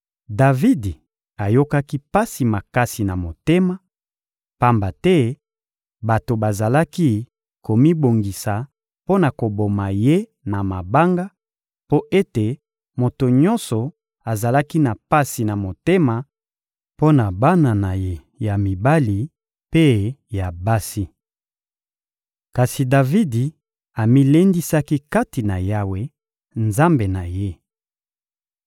Davidi ayokaki pasi makasi na motema, pamba te bato bazalaki komibongisa mpo na koboma ye na mabanga, mpo ete moto nyonso azalaki na pasi na motema mpo na bana na ye ya mibali mpe ya basi. Kasi Davidi amilendisaki kati na Yawe, Nzambe na ye.